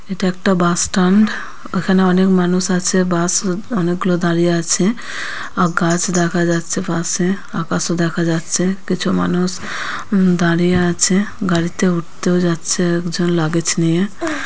এটা একটা bus stand এখানে অনেক মানুষ আছে বাস অনেকগুলো দাঁড়িয়ে আছে গাছ দেখা যাচ্ছে পাশে আকাশও দেখা যাচ্ছে কিছু মানুষ উম দাঁড়িয়ে আছে গাড়িতে উঠতেও যাচ্ছে একজন লাগেজ নিয়ে ।